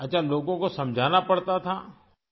اچھا، لوگوں کو سمجھانا پڑتا تھا؟